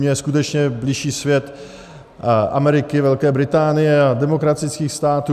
Mně je skutečně bližší svět Ameriky, Velké Británie a demokratických států.